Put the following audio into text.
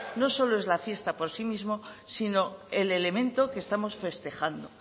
no solo es la fiesta por sí mismo sino el elemento que estamos festejando